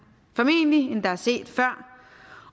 end der formentlig er set før